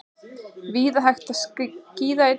Víða hægt að skíða í dag